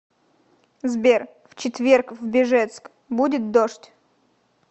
сбер в четверг в бежецк будет дождь